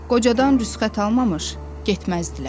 Qocadan rüsxət almamış getməzdilər.